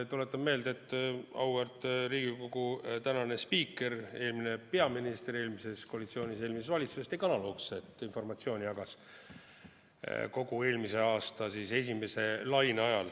Tuletan meelde, et auväärt Riigikogu tänane spiiker, eelmine peaminister eelmises koalitsioonis, eelmises valitsuses tegi analoogset – ta jagas informatsiooni kogu eelmise aasta esimese laine ajal.